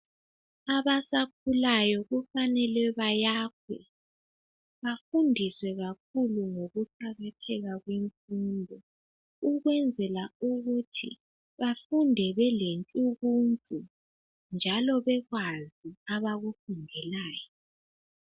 Abasakhulayo kufanele bayakhwe, bafundiswe kakhulu ngokuqakatheka kwemfundo ukwenzela ukuthi bafunde belentshukuntshu njalo bekwazi abakufundelayo.